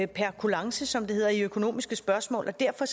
per kulance som det hedder i økonomiske spørgsmål og derfor